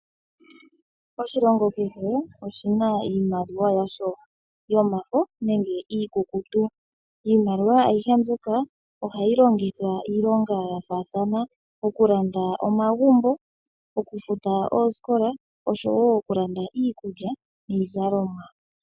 Oshilongo kehe oshina iimaliwa yasho, yomafo nenge iikukutu. Iimaliwa ayihe mbika ohayi longithwa iilonga ya faathana. Ngaashi, okulanda omagumbo, okufuta oosikola, noshowo okulanda omagumbo, niizalomwa.